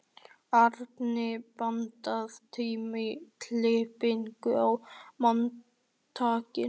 Arney, pantaðu tíma í klippingu á mánudaginn.